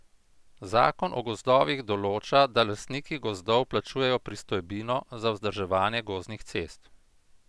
Zakon o gozdovih določa, da lastniki gozdov plačujejo pristojbino za vzdrževanje gozdnih cest.